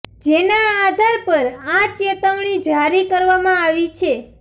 જેના આધાર પર આ ચેતવણી જારી કરવામાં આવી છે